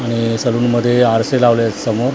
आणि सलून मध्ये आरसे लावलेत समोर--